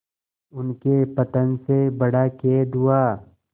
उनके पतन से बड़ा खेद हुआ